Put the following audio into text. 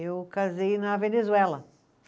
Eu casei na Venezuela.